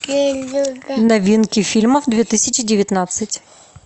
новинки фильмов две тысячи девятнадцать